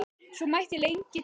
Svo mætti lengi telja.